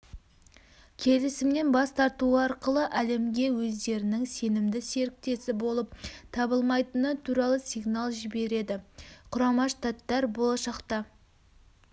келісімнен бас тартуы арқылы әлемге өздерінің сенімді серіктесі болып табылмайтыны туралы сигнал жібереді құрама штаттар болашақта